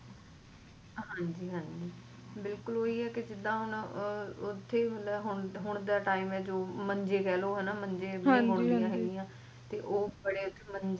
ਹਾਂਜੀ ਹਾਂਜੀ ਬਿਲਕੁਲ ਓਹੀ ਏ ਜਿੱਦਾ ਓਥੇ ਮਤਲਬ ਹੁਣ ਦਾ time ਏ ਮੰਜੇ ਕਹਿਲੋ